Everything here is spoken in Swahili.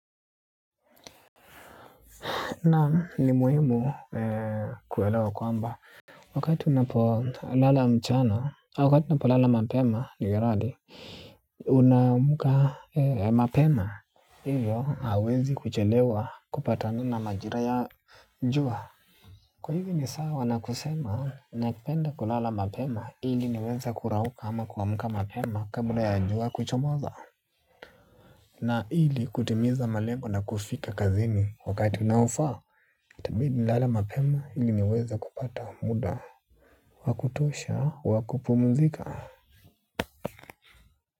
Na ni muhimu kuelewa kwamba. Wakati unapolala mchana, wakati au unapolala mapema. Unamka mapema. Hivyo hauwezi kuchelewa kupatana na majira ya jua. Kwa hivyo ni sawa na kusema na penda kulala mapema ili niweza kurauka ama kuamuka mapema kabla ya jua kuchomoza. Na ili kutimiza malengo na kufika kazini wakati unaofaa. Itabidi nilale mapema ili niweza kupata muda wakutosha, wakupumuzika.